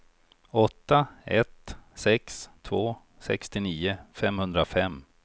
åtta ett sex två sextionio femhundrafem